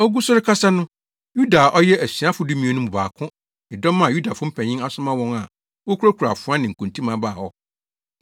Ogu so rekasa no, Yuda a ɔyɛ asuafo dumien no mu baako ne dɔm a Yudafo mpanyin asoma wɔn a wokurakura afoa ne nkontimmaa baa hɔ.